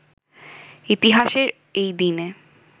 ইতিহাসের এই দিনে